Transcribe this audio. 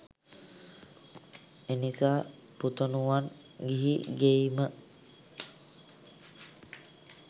එනිසා පුතණුවන් ගිහි ගෙයිම